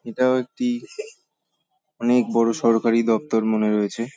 এটাও একটি অনেক বড় সরকারি দপ্তর মনে রয়েছে।